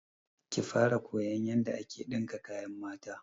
Ki fara koyan yanda ake ɗinka kayan mata!